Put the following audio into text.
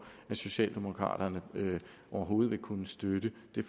at socialdemokraterne overhovedet vil kunne støtte det